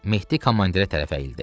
Mehdi komandirə tərəf əyildi.